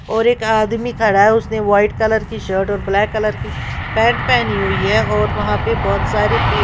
और एक आदमी खड़ा है उसने व्हाइट कलर की शर्ट और ब्लैक कलर की पैंट पहनी हुई है और वहां पर बहुत सारी पेड़--